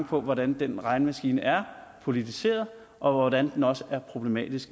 på hvordan den regnemaskine er politiseret og hvordan den også er problematisk